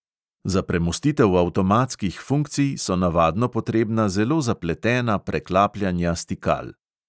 Za premostitev avtomatskih funkcij so navadno potrebna zelo zapletena preklapljanja stikal.